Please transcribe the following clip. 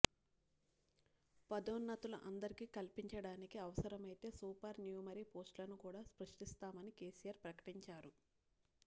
పదోన్నతులు అందరికీ కల్పించడానికి అవసరమైతే సూపర్ న్యూమరీ పోస్టులను కూడా సృష్టిస్తామని కేసీఆర్ ప్రకటించారు